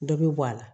Dɔ bɛ bɔ a la